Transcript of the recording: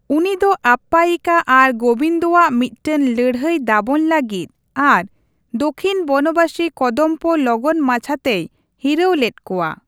ᱩᱱᱤ ᱫᱚ ᱟᱯᱯᱟᱭᱤᱠᱟ ᱟᱨ ᱜᱳᱵᱤᱱᱫᱚᱣᱟᱜ ᱢᱤᱫᱴᱟᱝ ᱞᱟᱹᱲᱦᱟᱭ ᱫᱟᱵᱚᱱ ᱞᱟᱹᱜᱤᱫ ᱟᱨ ᱫᱚᱠᱷᱤᱱ ᱵᱚᱱᱚᱵᱟᱥᱤ ᱠᱚᱫᱚᱢᱵᱚ ᱠᱚ ᱞᱚᱜᱚᱱ ᱢᱟᱪᱷᱟᱛᱮᱭ ᱦᱤᱨᱟᱹᱣ ᱞᱮᱫ ᱠᱚᱣᱟ ᱾